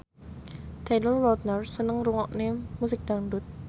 Taylor Lautner seneng ngrungokne musik dangdut